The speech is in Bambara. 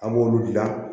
A b'olu gilan